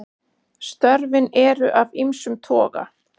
Störfin eru af ýmsum toga.